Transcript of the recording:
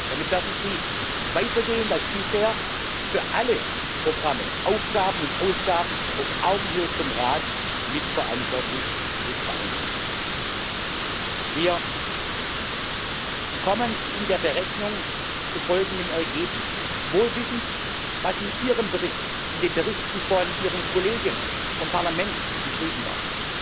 Damit werden Sie weitergehend als bisher für alle Programme, Aufgaben und Ausgaben auf Augenhöhe mit dem Rat mitverantwortlich sein. Wir kommen in der Berechnung zu folgendem Ergebnis wohl wissend, was in Ihrem Bericht, in den Berichten von Ihren Kollegen vom Parlament geschrieben wurde